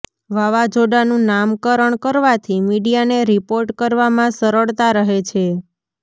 વાવાઝોડાનું નામકરણ કરવાથી મીડિયાને રિપોર્ટ કરવામાં સરળતા રહે છે